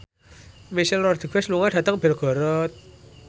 Michelle Rodriguez lunga dhateng Belgorod